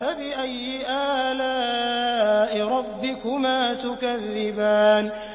فَبِأَيِّ آلَاءِ رَبِّكُمَا تُكَذِّبَانِ